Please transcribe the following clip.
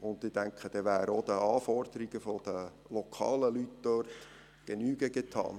Ich denke, damit wäre auch den Anforderungen der lokalen Leute dort Genüge getan.